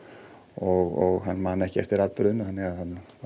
og hann man ekki eftir atburðinum þannig að hann